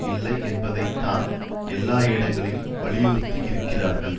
இல்லை என்பதை தான் எல்லா இடங்கல்லும் வலியுறுத்துகிறார்கள்